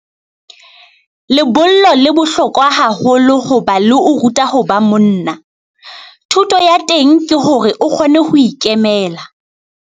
Lebollo le bohlokwa haholo ho ba le o ruta ho ba monna. Thuto ya teng ke hore o kgone ho ikemela.